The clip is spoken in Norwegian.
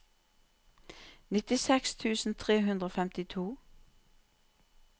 nittiseks tusen tre hundre og femtito